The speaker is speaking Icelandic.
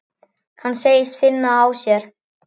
Hann segist finna það á sér.